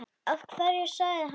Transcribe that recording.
Af hverju sagði hann þetta?